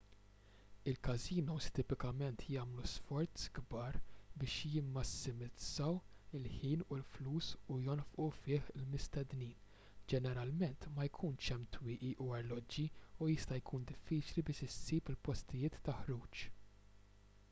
il-każinos tipikament jagħmlu sforzi kbar biex jimmassimizzaw il-ħin u l-flus li jonfqu fih il-mistednin ġeneralment ma jkunx hemm twieqi u arloġġi u jista' jkun diffiċli biex issib il-postijiet ta' ħruġ